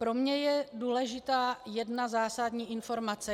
Pro mě je důležitá jedna zásadní informace.